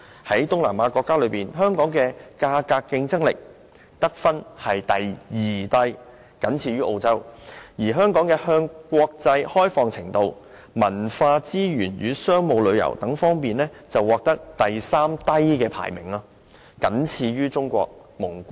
在東南亞國家中，香港在價格競爭力的得分是第二低，僅高於澳洲；香港在向國際開放程度和文化資源與商務旅遊方面，排名第三低，僅高於中國和蒙古。